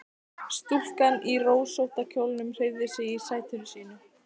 Stúlkan í rósótta kjólnum hreyfði sig í sæti sínu.